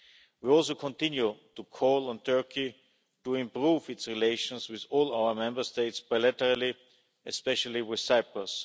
We also continue to call on Turkey to improve its relations with all our Member States bilaterally, especially with Cyprus.